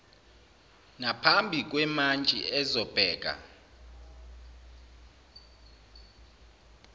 naphambi kwemantshi ezobheka